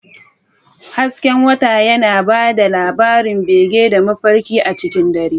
Hasken wata yana ba da labarun bege da mafarkai a cikin dare.